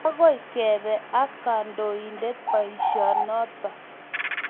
agoi kebe ak kandoindet boisionoto